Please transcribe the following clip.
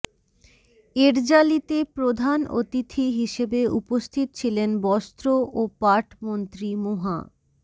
এ র্যালিতে প্রধান অতিথি হিসেবে উপস্থিত ছিলেন বস্ত্র ও পাট মন্ত্রী মুহা